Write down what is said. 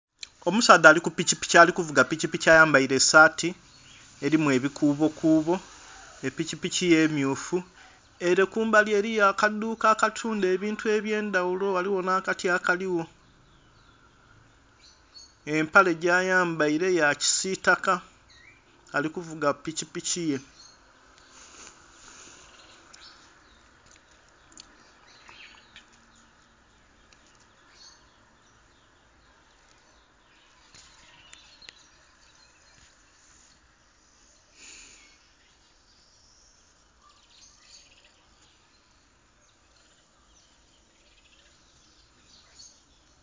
Omusaadha ali ku pikipiki ali kuvuga pikipiki ayambaire esaati elimu ebikuubokuubo. Epikipiki ye mmyufu ere kumbali eriyo akadhuuka akatundha ebintu eby'endhaghulo, ghaligho nh'akati akaligho. Empale gyayambaile ya kisiitaka, ali kuvuga pikipiki ye.